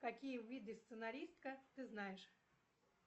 какие виды сценаристка ты знаешь